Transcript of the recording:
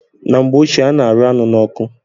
Na mgbe ochie a na-arụ anụ n'ọkụ